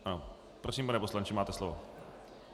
Prosím, pane poslanče, máte slovo.